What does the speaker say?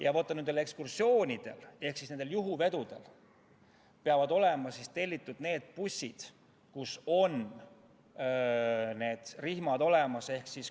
Ja vaat nende ekskursioonide ehk juhuvedude korral peavad olema tellitud sellised bussid, kus on rihmad olemas.